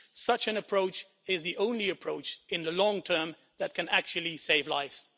Such an approach is the only approach in the long term that can actually save lives.